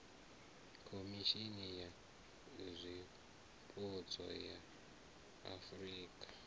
khomishimi ya zwipotso ya afurika